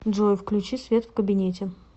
джой включи свет в кабинете